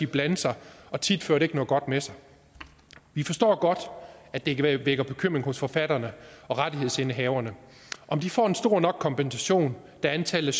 blande sig og tit fører det ikke noget godt med sig vi forstår godt at det vækker bekymring hos forfatterne og rettighedsindehaverne om de får en stor nok kompensation da antallet